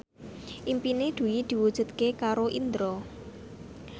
impine Dwi diwujudke karo Indro